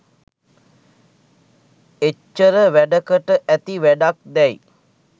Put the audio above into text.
එච්චර වැඩකට ඇති වැඩක් දැයි